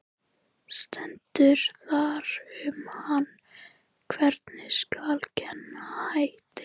Stendur þar um hann: Hvernig skal kenna Hæni?